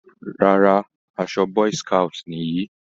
Rárá, aṣọ boy scout nìyí.